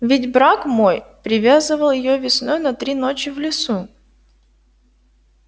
ведь брак мой привязывал её весной на три ночи в лесу